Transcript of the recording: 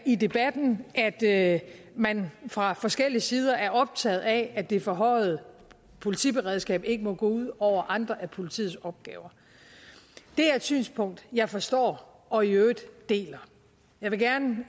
i debatten at man fra forskellige sider er optaget af at det forhøjede politiberedskab ikke må gå ud over andre af politiets opgaver det er et synspunkt jeg forstår og i øvrigt deler jeg vil gerne